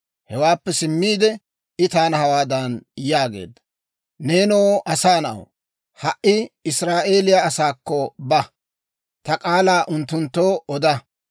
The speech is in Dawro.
Hewaappe simmiide, I taana hawaadan yaageedda; «Neenoo asaa na'aw, ha"i Israa'eeliyaa asaakko ba; ta k'aalaa unttunttoo oda.